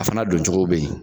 A fana don cogo be yen